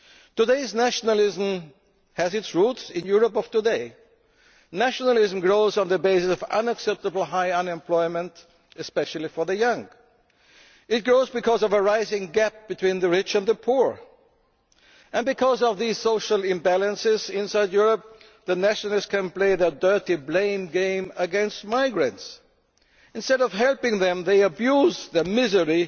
European values. Today's nationalism has its roots in the Europe of today. Nationalism grows on the basis of unacceptably high unemployment, especially for the young. It grows because of a rising gap between the rich and the poor. Because of these social imbalances inside Europe the nationalists can play their dirty blame game against migrants. Instead of helping them, they